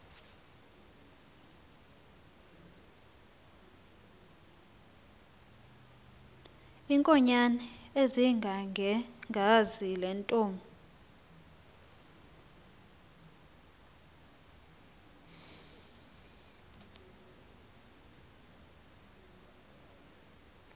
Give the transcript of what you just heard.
iinkonyan ezingangekhazi lentomb